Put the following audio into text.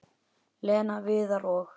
Lena, Viðar og